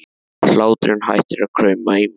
Hláturinn hættir að krauma í mér.